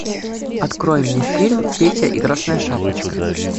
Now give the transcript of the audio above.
открой мне фильм петя и красная шапочка